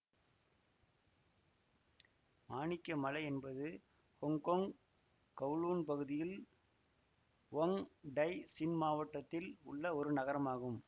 மாணிக்க மலை என்பது Hong Kong Kowloon பகுதியில் வொங் டய் சின் மாவட்டத்தில் உள்ள ஒரு நகரமாகும்